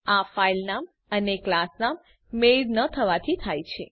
આ ફાઈલનામ અને ક્લાસ નામ મેળ ન થવાથી થાય છે